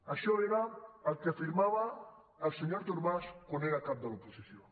això era el que afirmava el senyor artur mas quan era cap de l’oposició